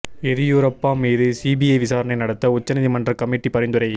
எதியூரப்பா மீது சிபிஐ விசாரணை நடத்த உச்ச நீதிமன்ற கமிட்டி பரிந்துரை